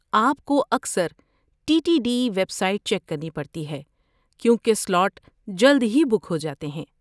آپ کو اکثر T T D website check کرنی پڑتی ہے، کیونکہ سلاٹ جلد ہی بک ہو جاتے ہیں۔